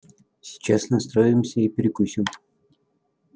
сейчас настроимся и перекусим